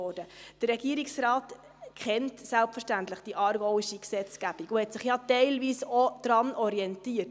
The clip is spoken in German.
Der Regierungsrat kennt selbstverständlich die aargauische Gesetzgebung und hat sich ja teilweise auch daran orientiert.